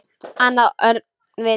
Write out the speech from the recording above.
Annað öngvit